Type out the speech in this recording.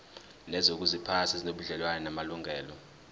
nezokuziphatha ezinobudlelwano namalungelo